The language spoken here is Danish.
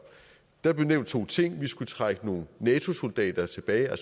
der blev nævnt to ting vi skal trække nogle nato soldater tilbage